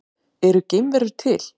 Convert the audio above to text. Eru geimverur til?